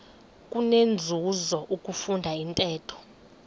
kunenzuzo ukufunda intetho